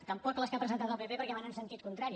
tampoc les que ha presentat el pp perquè van en sentit contrari